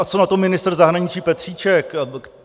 A co na to ministr zahraničí Petříček?